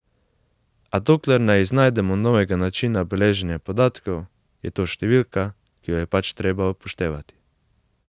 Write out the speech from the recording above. A dokler ne iznajdemo novega načina beleženja podatkov, je to številka, ki jo je pač treba upoštevati.